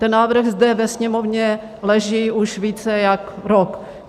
Ten návrh zde ve Sněmovně leží už více jak rok.